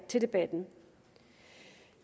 til debatten